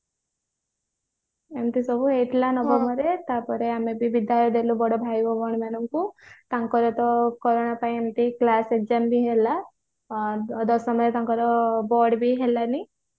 ଏମିତି ସବୁ ହେଇଥିଲା ତାପରେ ଆମେ ବିଦାୟ ବି ଦେଲୁ ବଡ ଭାଇ ଓ ଭଉଣୀ ମାନଙ୍କୁ ତାଙ୍କର ତ corona ପାଇଁ ଏମିତି class exam ବି ହେଲା ଦଶମ ରେ ତାଙ୍କର board ବି ହେଲାନି